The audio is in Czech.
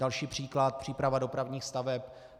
Další příklad, příprava dopravních staveb.